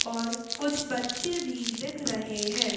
और कुछ बच्चे भी दिख रहे है।